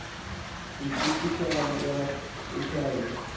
itishala yakho uchaze